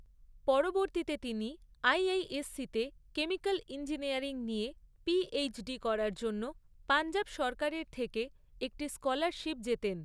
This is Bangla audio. পরবর্তীতে তিনি আইআইএসসিতে কেমিক্যাল ইঞ্জিনিয়ারিং নিয়ে পিএইচডি করার জন্য পঞ্জাব সরকারের থেকে একটি স্কলারশিপ জেতেন।